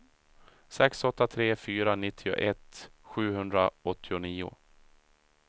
sex åtta tre fyra nittioett sjuhundraåttionio